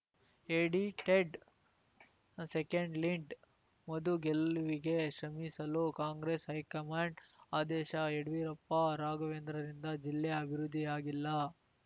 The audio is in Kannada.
ಎಡಿಟೆಡ್‌ಸೆಕೆಂಡ್‌ಲೀಡ್‌ ಮಧು ಗೆಲ್ಲುವಿಗೆ ಶ್ರಮಿಸಲು ಕಾಂಗ್ರೆಸ್‌ ಹೈಕಮಾಂಡ್‌ ಆದೇಶ ಯಡಿಯೂರಪ್ಪ ರಾಘವೇಂದ್ರರಿಂದ ಜಿಲ್ಲೆ ಅಭಿವೃದ್ಧಿಯಾಗಿಲ್ಲ